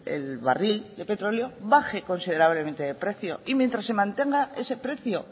el barril de petróleo baje considerablemente de precio y mientras se mantenga ese precio